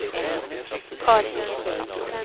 Carin Eriksson